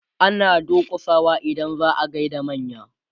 ana durkusawa idan za'a gayar da manya